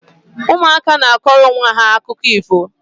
Ụmụaka na akọrọ onwe ha akụkọ ifo